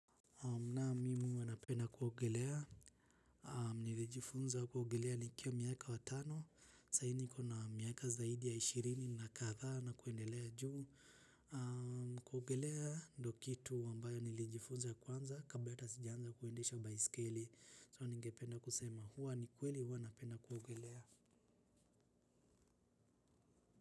Naam mimi huwa napenda kuogelea, nilijifunza kuogelea nikiwa miaka wa tano, sahii nikona miaka zaidi ya ishirini na kadhaa na kuendelea juu. Kuogelea ndo kitu ambayo nilijifunza ya kwanza, kabla hata sijaanza kuendesha baiskeli. So nigependa kusema kuwa ni kweli huwa napenda kuogelea.